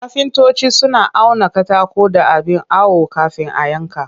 Kafintoci suna auna katako da abin awo kafin a yanka